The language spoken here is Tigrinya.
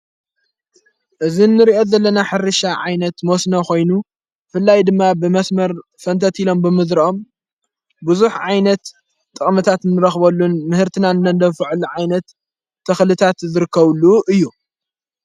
እዝ እንርእአት ዘለና ሕሪሻ ዓይነት ሞስነ ኾይኑ ፍላይ ድማ ብመስመር ፈንተት ኢሎም ብምድርኦም ብዙኅ ዓይነት ጠቕምታት ንረኽበሉን ምህርትናንነንደፍዕሊ ዓይነት ተኽልታት ዘርከብሉ እዩ።